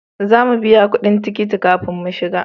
Za mu biya kudin tikiti kafin mu shiga